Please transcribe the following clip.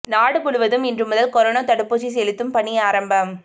நாடு முழுவதும் இன்று முதல் கொரோனா தடுப்பூசி செலுத்தும் பணி ஆரம்பம்